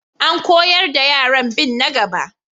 An koyar da yaran bin na gaba.